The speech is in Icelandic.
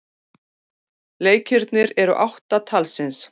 Leikirnir eru átta talsins.